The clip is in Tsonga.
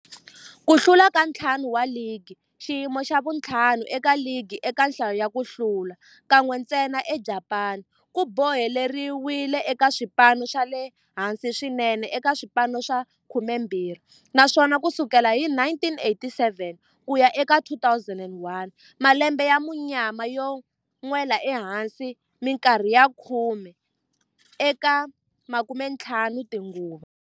Ku hlula ka ntlhanu wa ligi, xiyimo xa vu-5 eka ligi eka nhlayo ya ku hlula, kan'we ntsena eJapani, ku boheleriwile eka swipano swa le hansi swinene eka swipano swa 12, naswona ku sukela hi 1987 ku ya eka 2001, malembe ya munyama yo nwela ehansi minkarhi ya khume eka 15 tinguva.